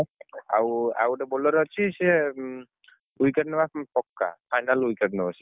ଆଉ ଆଉ ଗୋଟେ bowler ଅଛି ସିଏ ଉଁ, wicket ନବା ପକ୍କା, final wicket ନବ ସିଏ।